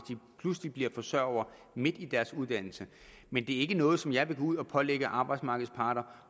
pludselig bliver forsørgere midt i deres uddannelse men det er ikke noget som jeg vil gå ud og pålægge arbejdsmarkedets parter